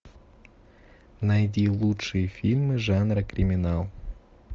найди лучшие фильмы жанра криминал